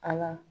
Ala